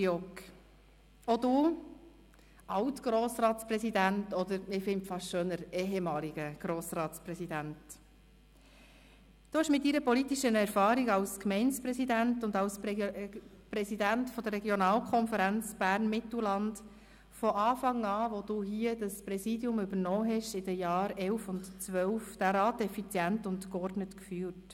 Auch du, alt Grossratspräsident oder – was ich fast schöner finde – ehemaliger Grossratspräsident, hast mit deiner politischen Erfahrung als Gemeindepräsident und als Präsident der Regionalkonferenz Bern-Mittelland von Beginn deines Präsidialjahres 2011/12 an den Rat effizient und geordnet geführt.